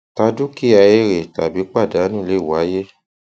tà dúkìá èrè tàbí pàdánù lè wáyé